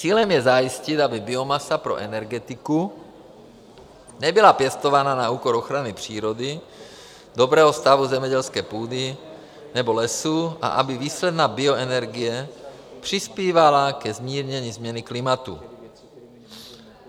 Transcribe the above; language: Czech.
Cílem je zajistit, aby biomasa pro energetiku nebyla pěstována na úkor ochrany přírody, dobrého stavu zemědělské půdy nebo lesů a aby výsledná bioenergie přispívala ke zmírnění změny klimatu.